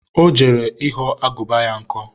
ọ jere ịghọ agụba ya nkọ